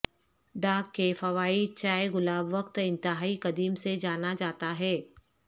dog کے فوائد چائے گلاب وقت انتہائی قدیم سے جانا جاتا ہے